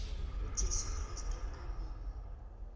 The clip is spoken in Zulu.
ujesu kristu amen